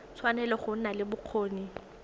tshwanetse go nna le bokgoni